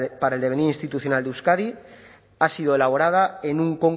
para el devenir institucional de euskadi ha sido elaborada en un